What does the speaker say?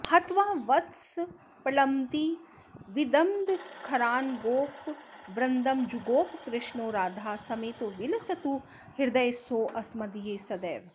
हत्वा वत्सप्रलम्बद्विविदबकखरान्गोपवृन्दं जुगोप कृष्णो राधा समेतो विलसतु हृदये सोऽस्मदीये सदैव